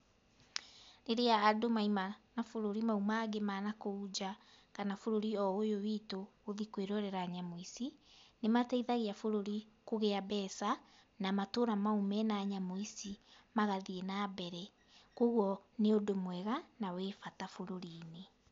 Rĩrĩa andũ maima mabũrũri mau mangĩ ma nakũu nja, kana bũrũri o ũyũ witũ gũthiĩ kwĩrorera nayamũ ici, nĩmateithagia bũrũri kũgĩa mbeca, na matũra mau mena nyamũ ici magathiĩ nambere. Kuoguo nĩ ũndũ mwega na wĩ bata bũrũri-inĩ